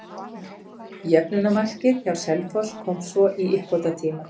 Jöfnunarmarkið hjá Selfoss kom svo í uppbótartíma.